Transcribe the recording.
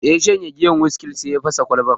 Da ya shanye giyar wiskin, sai ya fasa Kwalbar